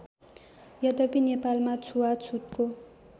यद्यपि नेपालमा छुवाछुतको